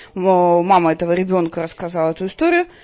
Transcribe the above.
но мама этого ребёнка рассказала эту историю